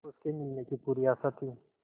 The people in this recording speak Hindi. उसके मिलने की पूरी आशा थी